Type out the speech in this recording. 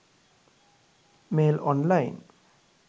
mail online